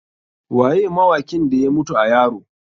Waye mawakin da ya mutu a yaro?